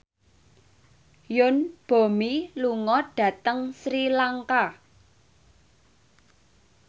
Yoon Bomi lunga dhateng Sri Lanka